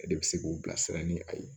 E de bɛ se k'u bilasira ni a ye